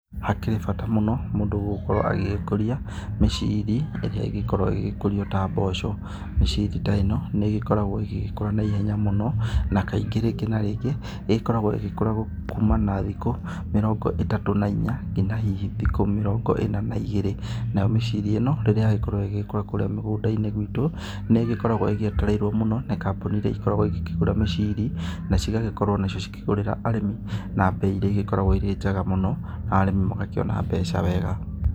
Hakĩrĩ bata mũno mũndũ gũkorwo agĩgĩkũria mĩcĩrĩ irĩa igĩkorwo igĩkũrĩo ta mboco, mĩcĩrĩ ta ĩno, niigĩkoragwo igĩkũra na ihenya mũno na kaingĩ rĩngĩ na rĩngĩ ĩgĩkoragwo ĩgĩkura kũmana na thĩkũ mĩrongo ĩtatũ na ĩnya ngĩna hĩhĩ thikũ mĩrongo ĩna na ĩgĩrĩ, nayo mĩcĩrĩ ĩno rĩrĩa yagikorwo igikũra kũrĩa mĩgunda-ĩni gwĩtũ, niĩgĩkoragwo igĩetereirwo mũno nĩ kambũni irĩa igĩkoragwo igĩkĩgura mĩcĩrĩ na cĩgagĩkorwo nacĩo cĩkũgũrĩra arĩmĩ na mbei irĩa ĩgĩkoragwo ĩrĩ njega mũno na arĩmi magakĩona mbeca wega.